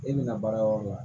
E bɛna baara yɔrɔ la